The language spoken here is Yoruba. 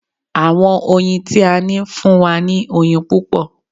Àwọn oyin tí a ní ń fún wa ní oyin púpọ̀